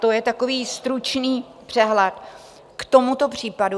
To je takový stručný přehled k tomuto případu.